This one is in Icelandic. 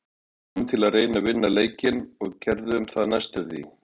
Við komum til að reyna að vinna leikinn og við gerðum það næstum því.